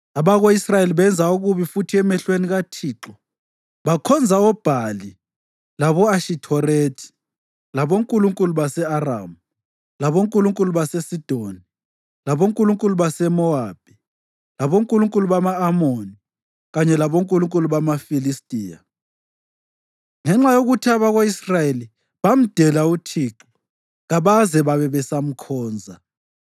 Abako-Israyeli benza okubi futhi emehlweni kaThixo. Bakhonza oBhali labo-Ashithorethi, labonkulunkulu base-Aramu, labonkulunkulu baseSidoni, labonkulunkulu baseMowabi, labonkulunkulu bama-Amoni, kanye labonkulunkulu bamaFilistiya. Ngenxa yokuthi abako-Israyeli bamdela uThixo kabaze babe besamkhonza,